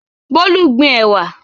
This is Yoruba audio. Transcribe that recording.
Bolu gbin ẹ̀wà.